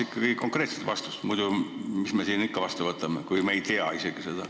Tahaks konkreetset vastust – kuidas me muidu selle seaduse vastu võtame, kui me ei tea isegi seda.